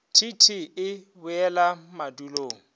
t t e boele madulong